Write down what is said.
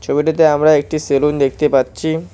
ছবিটিতে আমরা একটি সেলুন দেখতে পাচ্ছি।